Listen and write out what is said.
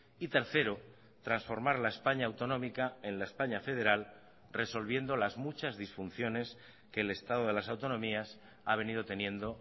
y tercero transformar la españa autonómica en la españa federal resolviendo las muchas disfunciones que el estado de las autonomías ha venido teniendo